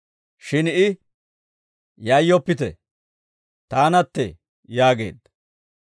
Shin I, «Yayyoppite; taanattee!» yaageedda.